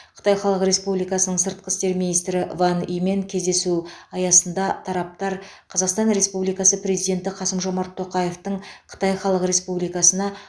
қытай халық республикасының сыртқы істер министрі ван имен кездесу аясында тараптар қазақстан республикасы президенті қасым жомарт тоқаевтың қытай халық республикасына